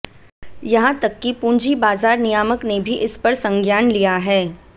यहां तक कि पूंजी बाजार नियामक ने भी इस पर संज्ञान लिया है